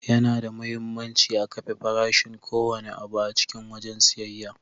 Yana da muhimmanci a kafe farashin ko wanne abu a cikin wajen siyayya.